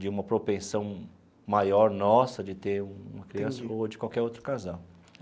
de uma propensão maior nossa de ter uma criança ou de qualquer outro casal.